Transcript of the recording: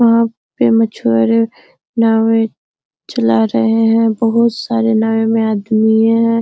वहां पे मछुआरे नाव में चला रहे हैं बहुत सारे नाव में आदमीए है।